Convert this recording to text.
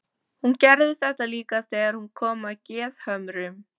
Hún gerði þetta líka þegar hún kom að Gerðhömrum.